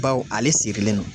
Baw ale sirilen don